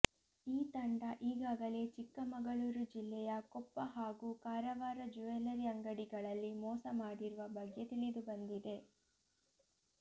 ಈ ತಂಡ ಈಗಾಗಲೇ ಚಿಕ್ಕಮಗಳೂರು ಜಿಲ್ಲೆಯ ಕೊಪ್ಪ ಹಾಗೂ ಕಾರವಾರ ಜ್ಯುವೆಲ್ಲರಿ ಅಂಗಡಿಗಳಲ್ಲಿ ಮೋಸ ಮಾಡಿರುವ ಬಗ್ಗೆ ತಿಳಿದುಬಂದಿದೆ